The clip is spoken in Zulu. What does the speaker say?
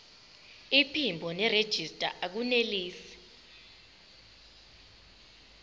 iphimbo nerejista akunelisi